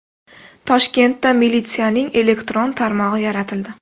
Toshkentda militsiyaning elektron tarmog‘i yaratildi.